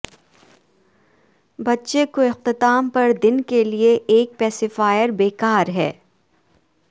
بچے کو اختتام پر دن کے لئے ایک پیسیفائیر بیکار ہے